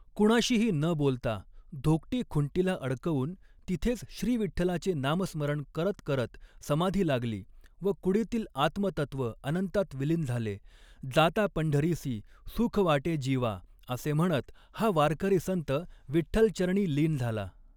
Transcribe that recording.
कुणाशीही न बोलता धोकटी खुंटीला अडकवून तिथेच श्रीविठ्ठलाचे नामस्मरण करत करत समाधी लागली व कुडीतील आत्मतत्त्व अनंतात विलीन झाले जाता पंढरीसी सूख वाटे जीवा असे म्हणत हा वारकरी संत विठ्ठलचरणी लीन झाला.